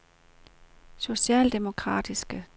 socialdemokratiske